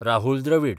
Rahul Dravida